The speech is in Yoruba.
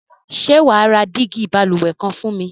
Sé wàá ra dígí balùwè kan fún mi?